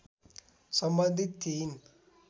सम्बन्धित थिइन्